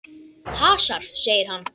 Hasar, segir hann.